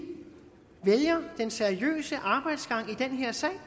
vælger den seriøse arbejdsgang i den her sag